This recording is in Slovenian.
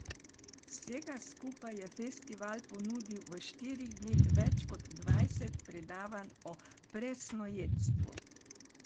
Vsega skupaj je festival ponudil v štirih dneh več kot dvajset predavanj o presnojedstvu.